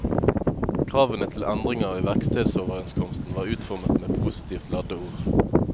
Kravene til endringer i verkstedoverenskomsten var utformet med positivt ladde ord.